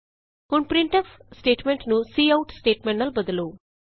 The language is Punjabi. ਹੁਣ ਪ੍ਰਿੰਟਫ ਸਟੇਟਮੈਂਟ ਨੂੰ ਸੀਆਉਟ ਸਟੇਟਮੈਂਟ ਨਾਲ ਬਦਲੋ